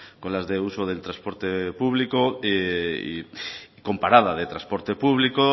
con las de uso del transporte público con parada de transporte público